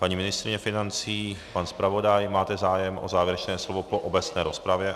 Paní ministryně financí, pan zpravodaj - máte zájem o závěrečné slovo po obecné rozpravě?